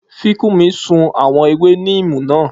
Fikunmi sun àwọn ewé níìmù náà